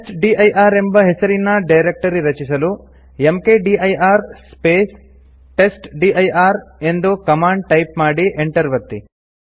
testdir ಎಂಬ ಹೆಸರಿನ directory ರಚಿಸಲು ಮ್ಕ್ದಿರ್ ಸ್ಪೇಸ್ ಟೆಸ್ಟ್ಡಿರ್ ಎಂದು ಕಮಾಂಡ್ ಟೈಪ್ ಮಾಡಿ Enter ಒತ್ತಿ